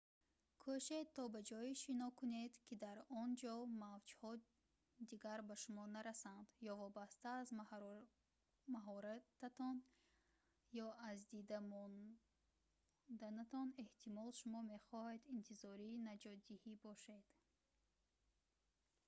кӯшед то ба ҷое шино кунед ки дар он ҷо мавҷҳо дигар ба шумо нарасанд ё вобаста аз маҳорататон ё аз дида монданатон эҳтимол шумо мехоҳед интизори наҷотдиҳӣ бошед